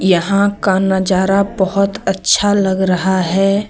यहां का नजारा बहोत अच्छा लग रहा है।